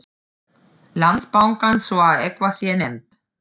Landsbankans svo að eitthvað sé nefnt.